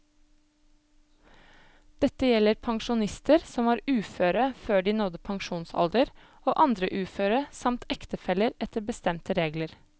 Dette gjelder pensjonister som var uføre før de nådde pensjonsalder og andre uføre samt ektefeller etter bestemte regler.